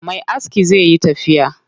Me askin zai yi tafiya.